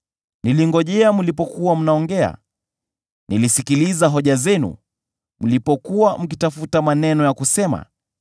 Nilingojea mlipokuwa mnaongea, nilizisikiliza hoja zenu; mlipokuwa mkitafuta maneno ya kusema,